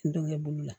N denkɛ bolo la